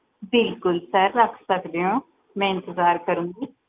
ਬਿਲਕੁਲ sir ਰੱਖ ਸਕਦੇ ਹੋ ਮਈ ਇੰਤਜ਼ਾਰ ਕਰੂਗੀ